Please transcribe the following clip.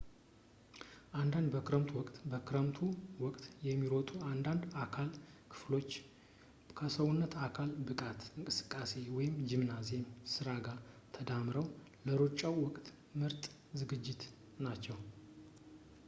አንዳንድ በክረምቱ ወቅት በክረምቱ ወቅት የሚሮጡ አንዳንድ የአካል ክፍሎች ከሰውነት የአካል ብቃት እንቅስቃሴ ጂምናዚየም ሥራ ጋር ተዳምረው ለሩጫው ወቅት ምርጥ ዝግጅት ናቸው